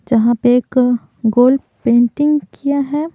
जहाँ पे एक गोल पेंटिंग किया है।